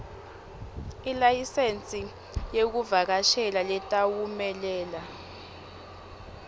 ilayisensi yekushayela letawumelela